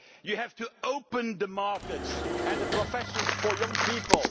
sector. You have to open the markets and the professions for young